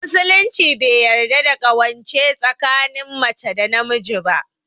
Musulunci bai yarda da ƙawance tsakinin mace da namiji ba